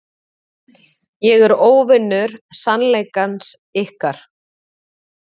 Ég er óvinur sannleikans ykkar.